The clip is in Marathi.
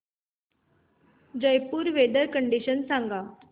जयपुर वेदर कंडिशन सांगा